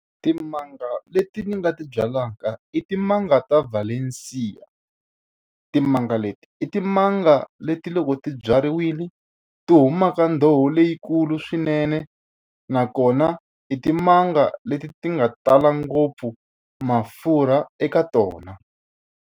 Timanga leti ni nga ti byalaka i timanga ta valencia. Timanga leti i timanga leti loko ti byariwile ti huma ka ndzoho leyikulu swinene, nakona i timanga leti ti nga tala ngopfu mafurha eka tona.